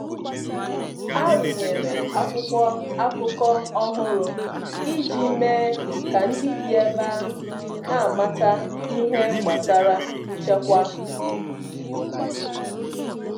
A rụnyere akwụkwọ akụkọ ọhụrụ iji mee ka ndị bi ebe ahụ n'amata ihe gbasara nchekwa obodo.